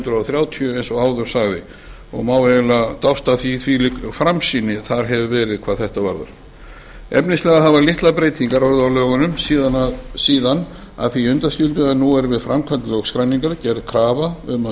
hundruð þrjátíu má eiginlega dáðst að hvílík framsýni þar verið hvað þetta varðar efnislega hafa litlar breytingar orðið á lögunum síðan að því undanskildu að nú er við framkvæmd lögskráningar gerð krafa um að